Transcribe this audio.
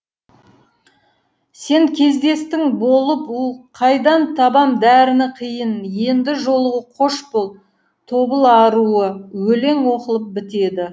сен кездестің болып у қайдан табам дәріні қиын енді жолығу қош бол тобыл аруы өлең оқылып бітеді